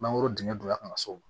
Mangoro dingɛ donya ka na s'o ma